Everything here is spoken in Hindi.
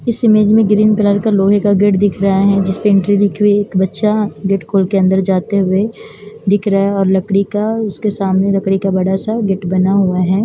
इस इमेज में ग्रीन कलर का लोहे का गेट दिख रहा है जिसपे एक बच्चा गेट खोल के अन्दर जाते हुए दिख रहा है और लड़की का उसके सामने लकड़ी का बड़ा सा गेट बना हुआ है।